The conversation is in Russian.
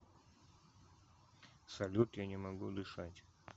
салют я не могу дышать